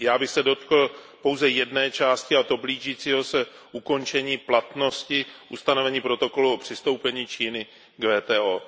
Já bych se dotkl pouze jedné části, a to blížícího se ukončení platnosti ustanovení protokolu o přistoupení Číny k WTO.